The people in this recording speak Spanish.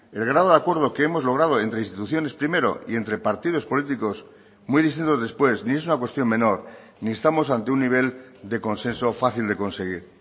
el grado de acuerdo que hemos logrado entre instituciones primero y entre partidos políticos muy distintos después ni es una cuestión menor ni estamos ante un nivel de consenso fácil de conseguir